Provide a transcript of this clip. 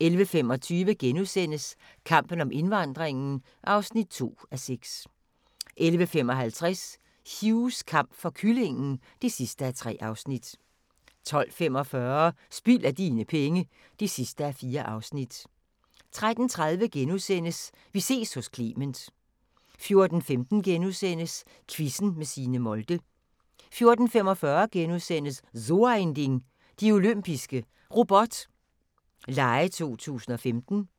11:25: Kampen om indvandringen (2:6)* 11:55: Hughs kamp for kyllingen (3:3) 12:45: Spild af dine penge (4:4) 13:30: Vi ses hos Clement * 14:15: Quizzen med Signe Molde * 14:45: So ein Ding: De Olympiske Robot Lege 2015 *